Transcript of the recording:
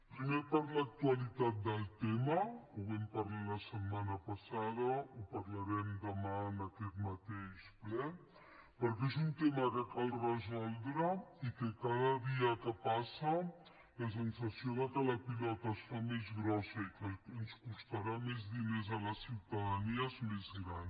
primer per l’actualitat del tema ho vam parlar la setmana passada ho parlarem demà en aquest mateix ple perquè és un tema que cal resoldre i cada dia que passa la sensació que la pilota es fa més grossa i que ens costarà més diners a la ciutadania és més gran